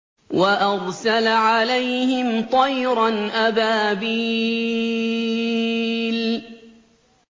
وَأَرْسَلَ عَلَيْهِمْ طَيْرًا أَبَابِيلَ